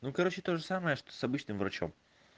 ну короче тоже самое что с обычным врачом